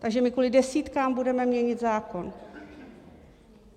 Takže my kvůli desítkám budeme měnit zákon!